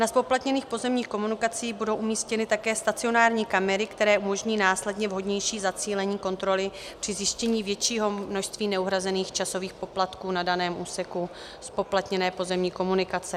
Na zpoplatněných pozemních komunikacích budou umístěny také stacionární kamery, které umožní následné vhodnější zacílení kontroly při zjištění většího množství neuhrazených časových poplatků na daném úseku zpoplatněné pozemní komunikace.